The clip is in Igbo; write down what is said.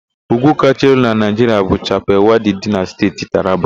Úgwú kacha elu na Naịjiria bu Chapal Wadi dị na Steeti Taraba.